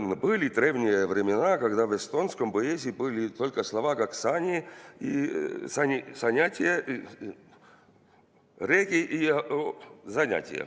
": "Bõli drevnije vremena, kogda v estonskom poezii bõli tolko slova kak saan ja zanjatije, regi ....